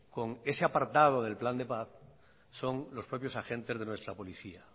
con ese apartado del plan de paz son los propios agentes de nuestra policía